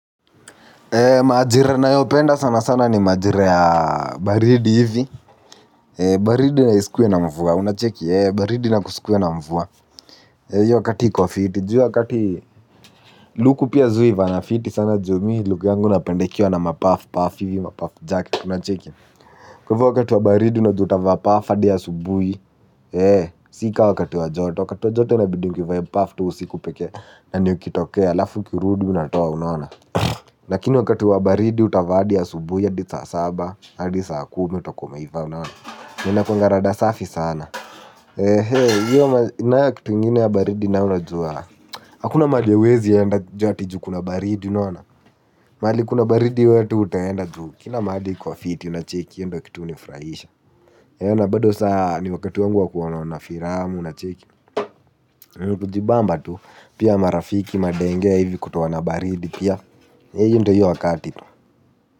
Majira ninayopenda sana sana ni majira ya baridi hivi, baridi na isikuwe na mvua unacheki baridi na kusikuwe na mvua hiyo wakati iko fiti juu hiyo wakati luku pia zi huivana fiti sana ju mi luku yangu napenda ikiwa na mapafu paf hivi mapafu jacket unacheki kwa hivyo wakati wa baridi unajua utavaa paf hadi ya asubuhi, si ka wakati wa joto, wakati wa joto inabidi nivae paf tu usiku pekee, na nikitokea halafu ukirudu unatoa unaona. Lakini wakati wa baridi utavaa hadi asubuhi hadi saa saba na hadi saa kumi utakuwa umeivaa unaona. Na inakuwanga rada safi sana. Nanayo kitu ingine ya baridi na unajua hakuna mahali hauezienda ju ati ju kuna baridi unaona. Mahali kuna baridi we hata hautaenda ju kila mahali iko fiti unacheki hiyo ndio kitu hunifurahisha. Na bado saa ni wakati wangu wa kuonaona filamu unacheki. Ni kujibamba tu pia marafiki madenge ya hivi kutoana baridi pia. Hiyo ndo hiyo wakati.